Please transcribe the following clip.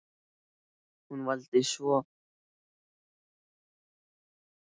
Hún valdi tvo stráka og tvær stelpur.